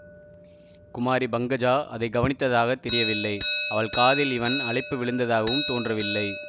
குமாரி பங்கஜா அதை கவனித்ததாகத் தெரியவில்லை அவள் காதில் இவன் அழைப்பு விழுந்ததாகவும் தோன்றவில்லை